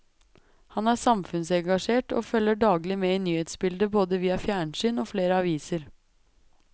Han er samfunnsengasjert, og følger daglig med i nyhetsbildet både via fjernsyn og flere aviser.